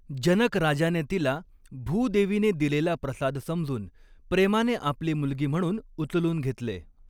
जनक राजाने तिला भूदेवीने दिलेला प्रसाद समजून प्रेमाने आपली मुलगी म्हणून उचलून घेतले.